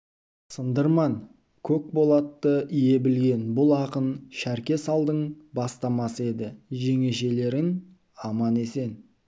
сындырман көк болатты ие білген бұл ақын шәрке салдың бастамасы еді жеңешелерін аман-есен